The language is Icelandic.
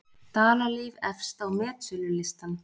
Dalalíf efst á metsölulistann